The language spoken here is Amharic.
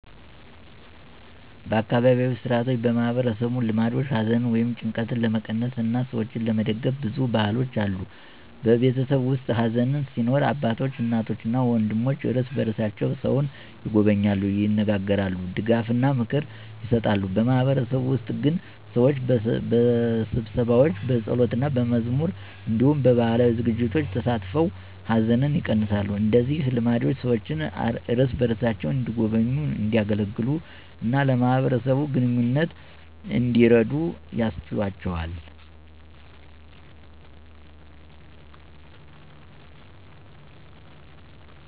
በአካባቢያዊ ሥርዓቶችና በማህበረሰብ ልማዶች ሐዘንን ወይም ጭንቀትን ለመቀነስ እና ሰዎችን ለመደግፍ ብዙ ባህሎች አሉ። በቤተሰብ ውስጥ ሐዘን ሲኖር አባቶች፣ እናቶች እና ወንድሞች እርስ በርሳቸው ሰውን ይጎበኛሉ፣ ይነጋገራሉ፣ ድጋፍና ምክር ይሰጣሉ። በማህበረሰብ ውስጥ ግን ሰዎች በስብሰባዎች፣ በጸሎትና በመዝሙር እንዲሁም በባህላዊ ዝግጅቶች ተሳትፈው ሐዘንን ይቀነሳሉ። እንደዚህ ልማዶች ሰዎችን እርስ በርሳቸው እንዲጎበኙ፣ እንዲያገለግሉ እና ለማህበረሰብ ግንኙነት እንዲረዱ ያስችላቸዋል።